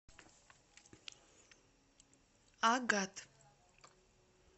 агат